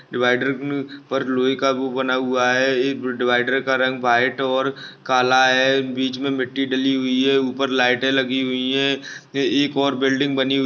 divider मे पर लोहे का वो बना हुआ है इस डिवाइडर का रंग वाइट और काला है बीच में मिट्टी डाली हुई है ऊपर लाईटे लगी हुई है ये एक और बिल्डिंग बनी हुई---